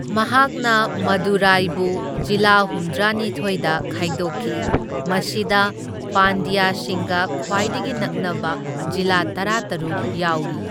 ꯃꯍꯥꯛꯅ ꯃꯗꯨꯔꯥꯏꯕꯨ ꯖꯤꯂꯥ ꯍꯨꯝꯗ꯭ꯔꯥꯅꯤꯊꯣꯢꯗ ꯈꯥꯏꯗꯣꯛꯈꯤ, ꯃꯁꯤꯗ ꯄꯥꯟꯗ꯭ꯌꯁꯤꯡꯒ ꯈ꯭ꯋꯥꯏꯗꯒꯤ ꯅꯛꯅꯕ ꯖꯤꯂꯥ ꯇꯔꯥꯇꯔꯨꯛ ꯌꯥꯎꯔꯤ꯫